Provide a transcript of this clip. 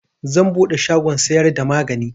Zan buɗe shagon siyar da magani